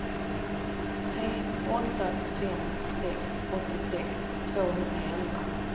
tre åtta fem sex åttiosex tvåhundraelva